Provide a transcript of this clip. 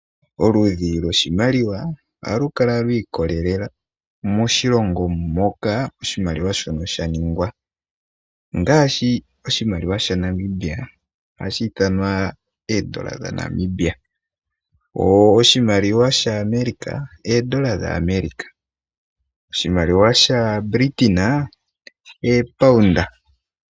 Oludhi loshimaliwa ohalu kala lwa ikolelela moshilongo moka oshimaliwa shono sha ningwa, ongaashi oshimaliwa sha Namibia ohashi ithanwa oondola dha Namibia. Wo oshimaliwa sha America oondola dha America. Oshimaliwa sha Britain oopound.